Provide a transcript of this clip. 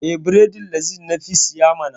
Eh, bredin laziz na fi siya ma.